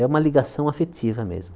É uma ligação afetiva mesmo.